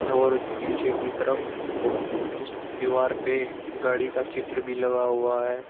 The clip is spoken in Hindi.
और पीछे की तरफ उस दीवार पे गाड़ी का चित्र भी लगा हुआ है।